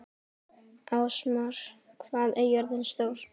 Ásmar, hvað er jörðin stór?